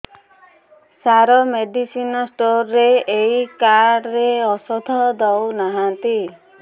ସାର medicine store ରେ ଏଇ card ରେ ଔଷଧ ଦଉନାହାନ୍ତି